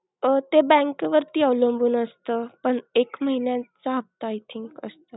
अह ते bank वरती अवलूंब असत, पण एक महिन्या चा हप्ता I think असतो.